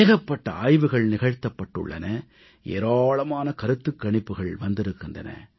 ஏகப்பட்ட ஆய்வுகள் நிகழ்த்தப்பட்டுள்ளன ஏராளமான கருத்துக் கணிப்புக்கள் வந்திருக்கின்றன